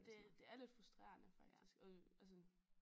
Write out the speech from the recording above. Det det er lidt frustrerende faktisk og og sådan